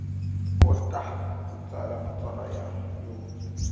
kota ku tsala matsalwa yo